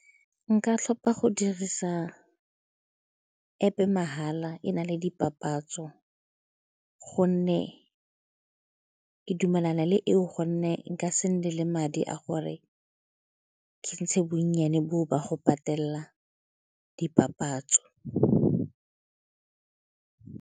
Nka tlhopha go dirisa App-e mahala e na le dipapatso gonne ke dumelana le eo gonne nka se nne le madi a gore ke ntshe bonnyane boo ba go patela dipapatso.